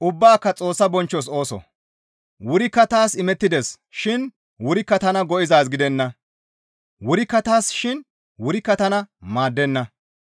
Wurikka taas imettides shin wurikka tana go7izaaz gidenna; wurikka taassa shin wurikka tana maaddenna.